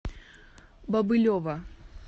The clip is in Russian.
бобылева